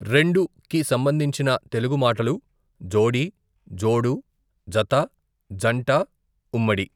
రెండు కి సంబంధించిన తెలుగు మాటలు జోడీ, జోడు, జత, జంట ఉమ్మడి.